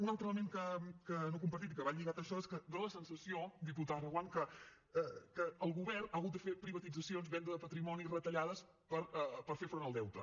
un altre element no compartit i que va lligat a això és que dóna la sensació diputada reguant que el govern ha hagut de fer privatitzacions venda de patrimoni retallades per fer front al deute